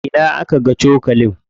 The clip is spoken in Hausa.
A ina aka ga cokalin?